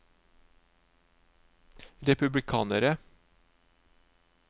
republikanere